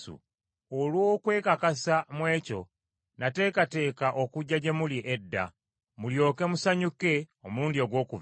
Olw’okwekakasa mu ekyo, nateekateeka okujja gye muli edda, mulyoke musanyuke omulundi ogwokubiri,